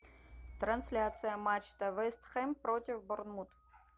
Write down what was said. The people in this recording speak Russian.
трансляция матча вест хэм против борнмут